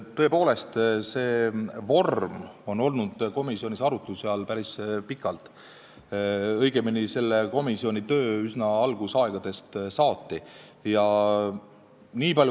Tõepoolest, see vorm oli komisjonis arutluse all päris pikalt, õigemini selle komisjoni töö üsna algusaegadest saati.